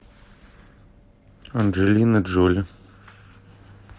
анджелина джоли